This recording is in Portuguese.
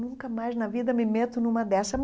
Nunca mais na vida me meto numa dessas.